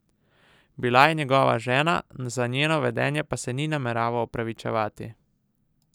Bila je njegova žena, za njeno vedenje pa se ni nameraval opravičevati.